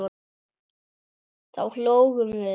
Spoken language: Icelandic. Þá hlógum við.